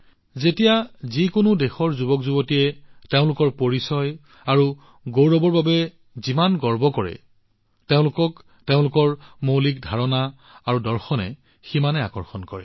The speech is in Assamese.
যিদৰে যিকোনো দেশৰ যুৱকযুৱতীয়ে তেওঁলোকৰ পৰিচয় আৰু অহংকাৰৰ বাবে গৌৰৱ কৰে তেওঁলোকক নিজৰ মৌলিক ধাৰণা আৰু দৰ্শনে সিমানেই আকৰ্ষিত কৰে